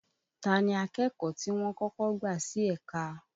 Ta ni akẹ́kọ̀ọ́ ti wọ́n kọ́kọ́ gbà sí ẹ̀ka?